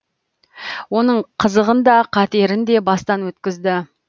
оның қызығын да қатерін де бастан өткізді